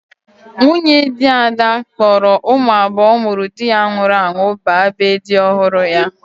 Nwunye di Ada kpọrọ ụmụ abuo ụmụrụ di ya nwụrụ anwụ ba ebe di ọhụrụ ya.